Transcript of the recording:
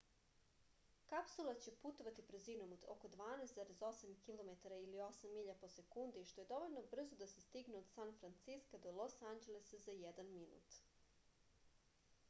kapsula će putovati brzinom od oko 12,8 kilometara ili 8 milja po sekundi što je dovoljno brzo da se stigne od san franciska do los anđelesa za jedan minut